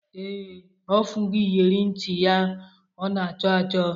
Ee, ọ fụgo iyere ntị ya ọ na-achọ achọ